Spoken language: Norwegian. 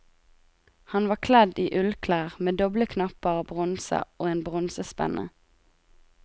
Han var kledd i ullklær med doble knapper av bronse og en bronsespenne.